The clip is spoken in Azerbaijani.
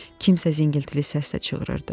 Kimsə zingiltili səslə çığırırdı.